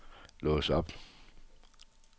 lås op